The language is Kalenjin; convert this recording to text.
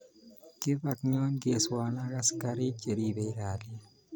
Kibak Nyongweso ak askariik che ribei kalyee.